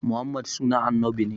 Muhammad sunan annabi ne